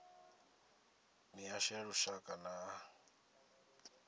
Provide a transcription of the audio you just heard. mihasho ya lushaka nay a